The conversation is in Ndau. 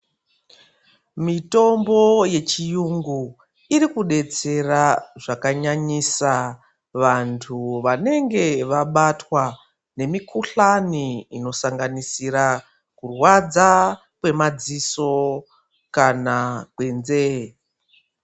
Mitombo yechiyungu ,iri kudetsera zvakanyanyisa, vantu vanenge vabatwa ngemikhuhlani inosanganisira kurwadza kwemadziso kana kwenzeye.